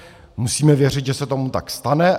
Musíme věřit, že se tomu tak stane.